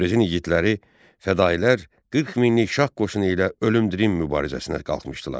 Təbrizin igidləri, fədailər 40 minlik şah qoşunu ilə ölüm-dirim mübarizəsinə qalxmışdılar.